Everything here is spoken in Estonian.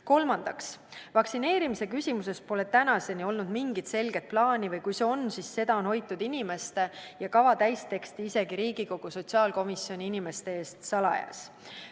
Kolmandaks, vaktsineerimise küsimuses pole tänaseni olnud mingit selget plaani, või kui see on, siis seda kava täisteksti on hoitud inimeste ja isegi Riigikogu sotsiaalkomisjoni inimeste eest salajas.